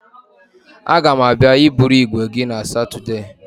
A ga m abịa iburu igwe gị na Satudee.